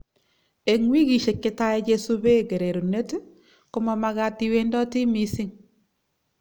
Eng wikishiek chetai kosube kererunet ,komamagat iwendoti missing.